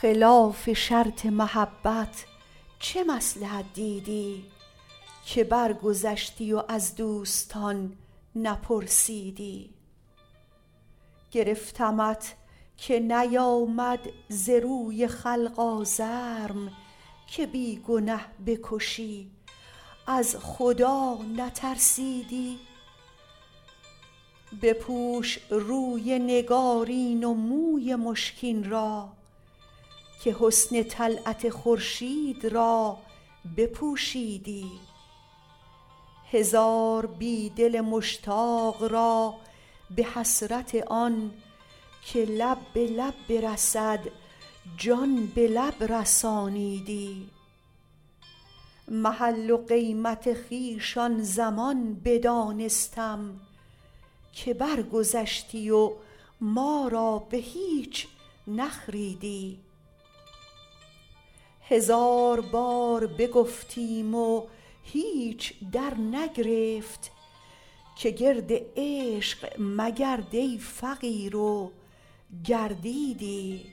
خلاف شرط محبت چه مصلحت دیدی که برگذشتی و از دوستان نپرسیدی گرفتمت که نیآمد ز روی خلق آزرم که بی گنه بکشی از خدا نترسیدی بپوش روی نگارین و موی مشکین را که حسن طلعت خورشید را بپوشیدی هزار بی دل مشتاق را به حسرت آن که لب به لب برسد جان به لب رسانیدی محل و قیمت خویش آن زمان بدانستم که برگذشتی و ما را به هیچ نخریدی هزار بار بگفتیم و هیچ درنگرفت که گرد عشق مگرد ای فقیر و گردیدی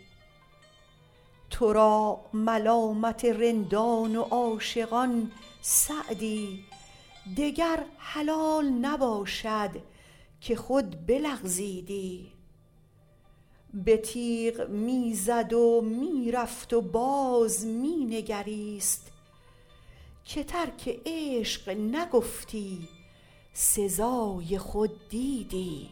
تو را ملامت رندان و عاشقان سعدی دگر حلال نباشد که خود بلغزیدی به تیغ می زد و می رفت و باز می نگریست که ترک عشق نگفتی سزای خود دیدی